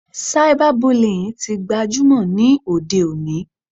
Cyber bullying tí gbajúmọ̀ ní òde òní.